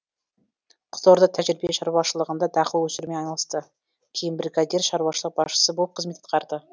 қызылорда тәжірибе шаруашылығында дақыл өсірумен айналысты кейін бригадир шаруашылық басшысы болып қызмет атқарды